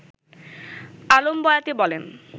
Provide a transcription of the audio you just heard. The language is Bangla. আলম বয়াতি বলেন